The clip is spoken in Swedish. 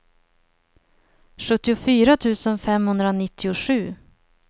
sjuttiofyra tusen femhundranittiosju